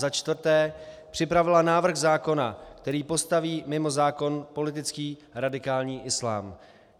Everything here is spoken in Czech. za čtvrté připravila návrh zákona, který postaví mimo zákon politický radikální islám.